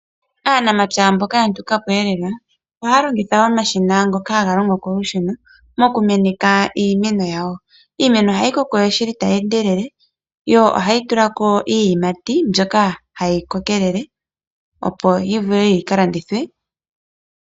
Aanamapya mboka yanukapo ohaya longitha omashina ngoka haga longo kolusheno mokumeneka iimeno yawo. Iimeno ohayi koko shili tayi endelele . Yo ohayi tulako iiyimati mbyoka hayi kokelele opo yivule yikalandithwe.